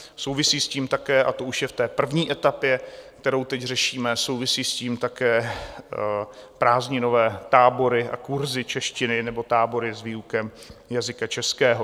Souvisí s tím také, a to už je v té první etapě, kterou teď řešíme, souvisí s tím také prázdninové tábory a kurzy češtiny nebo tábory s výukou jazyka českého.